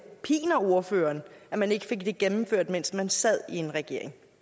piner ordføreren at man ikke fik det gennemført mens man sad i regering